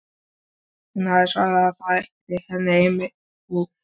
Hún hafði svarað að það þætti henni einmitt einsog honum.